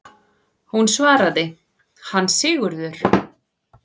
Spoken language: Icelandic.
Hún svaraði: Hann Sigurður!